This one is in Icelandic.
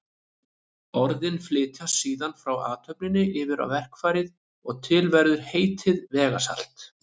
Orðin flytjast síðan frá athöfninni yfir á verkfærið og til verður heitið vegasalt.